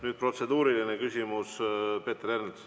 Nüüd protseduuriline küsimus, Peeter Ernits.